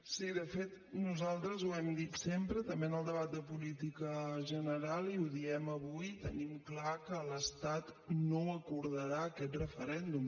sí de fet nosaltres ho hem dit sempre també en el debat de política general i ho diem avui tenim clar que l’estat no acordarà aquest referèndum